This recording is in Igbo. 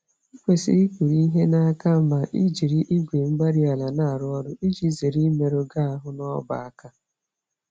Ị kwesịrị ikpuru-ihe n'aka ma ị jiri igwe-mgbárí-ala na-arụ ọrụ, iji zere imerụ gị ahụ n'ọbá-àkà